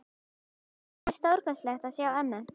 Það var stórkostlegt að sjá til ömmu.